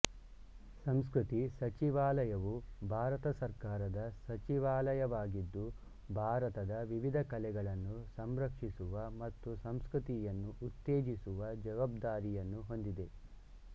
ಸಂಸ್ಕೃತಿ ಸಚಿವಾಲಯವು ಭಾರತ ಸರ್ಕಾರದ ಸಚಿವಾಲಯವಾಗಿದ್ದು ಭಾರತದ ವಿವಿಧ ಕಲೆಗಳನ್ನು ಸಂರಕ್ಷಿಸುವ ಮತ್ತು ಸಂಸ್ಕೃತಿಯನ್ನು ಉತ್ತೇಜಿಸುವ ಜವಾಬ್ದಾರಿಯನ್ನು ಹೊಂದಿದೆ